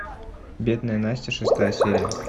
бедная настя шестая серия